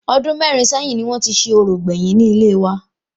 Ọdún mẹ́rin sẹ́yìn ni wọn ti ṣe orò gbèyìn ni ilé wa